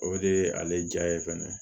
O de ye ale ja ye fɛnɛ